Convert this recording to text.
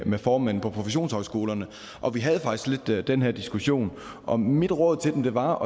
med formanden for professionshøjskolerne og vi havde faktisk lidt den her diskussion og mit råd til dem var